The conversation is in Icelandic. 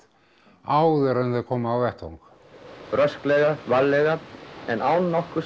áður en þeir komu á vettvang rösklega varlega en án nokkurs